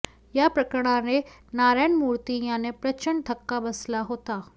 या प्रकरणाने नारायण मूर्ती यांना प्रचंड धक्का बसला होता